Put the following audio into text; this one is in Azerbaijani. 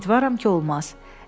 Ümidvaram ki, olmaz.